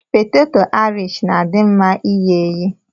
Peteto aịrish na-adị mma ighe eghe.